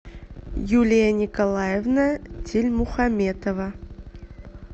юлия николаевна тильмухаметова